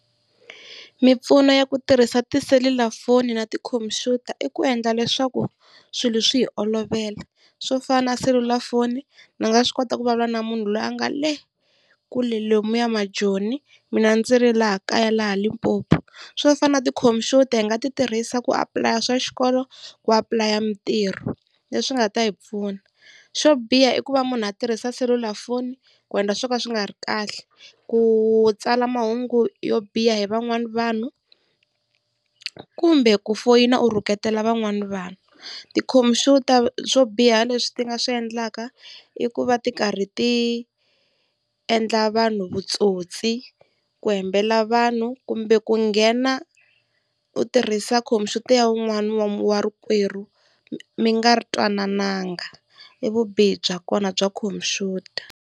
Mimpfuno ya ku tirhisa tiselulafoni na tikhompyuta i ku endla leswaku swilo swi hi olovela. Swo fana na selulafoni ndzi nga swi kota ku vulavula na munhu loyi a nga le kule lomuya majoni mina ndzi ri laha kaya laha Limpopo. Swo fana na tikhompyuta hi nga ti tirhisa ku apulaya swa xikolo, ku apulaya mitirho leswi nga ta hi pfuna. Xo biha i ku va munhu a tirhisa selulafoni ku endla swilo swo ka swi nga ri kahle, ku tsala mahungu yo biha hi van'wani vanhu kumbe ku foyina u rhuketela van'wani vanhu. Tikhompyuta swo biha leswi ti nga swi endlaka i ku va ti karhi tiendla vanhu vutsotsi, ku hembela vanhu kumbe ku nghena u tirhisa khompyuta ya wun'wani wa rikwerhu mi nga twanananga i vubihi bya kona bya computer.